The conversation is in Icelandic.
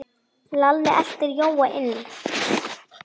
Svo tóku húsin að loga.